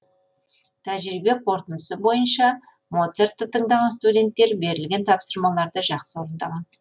тәжірибе қорытындысы бойынша моцартты тыңдаған студенттер берілген тапсырмаларды жақсы орындаған